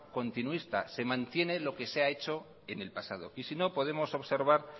continuista se mantiene lo que se ha hechoen el pasado y si no podemos observar